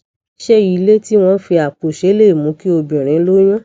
ṣé ilé tí wón fi àpò ṣe lè mú kí obìnrin lóyún